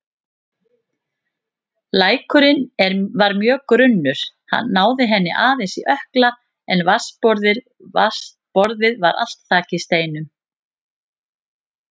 Lækurinn var mjög grunnur, náði henni aðeins í ökkla en vatnsborðið var allt þakið steinum.